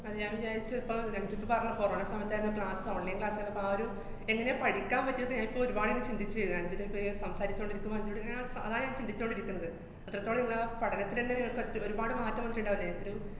അത് ഞാന്‍ വിചാരിച്ചു ഇപ്പ അഞ്ജൂ ഇപ്പ പറഞ്ഞ corona സമയത്താര്ന്ന് class online class ആര്ന്നപ്പൊ ആ ഒരു എന്നെ പഠിക്കാന്‍ പറ്റിയത് ഞായിപ്പോ ഒരുപാടിങ്ങനെ ചിന്തിച്ചു, അഞ്ജൂനിപ്പ ഇങ്ങനെ സംസാരിച്ചോണ്ടിരിക്കുമ്പ അഞ്ജൂടിങ്ങനെ അതാ ഞാന്‍ ചിന്തിച്ചോണ്ടിരിക്കണത്. അത്രത്തോളം ഇതാ പഠനത്തിനന്നെ പറ്റ്~ ഒരുപാട് മാറ്റം വന്നിട്ട്ണ്ടാവില്ലേ ഒരു